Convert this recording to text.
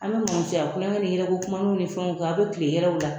An be mɔmusoya kulonkɛ ni yɛlɛ ko kumaninw ni fɛnw kɛ a be kilen yɛlɛw la.